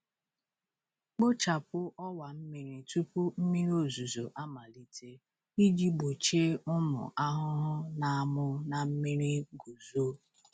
Kpochapụ ọwa mmiri tupu mmiri ozuzo amalite iji gbochie ụmụ ahụhụ na-amụ na mmiri guzo.